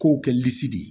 K'o kɛ de ye